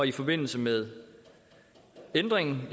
i forbindelse med ændringen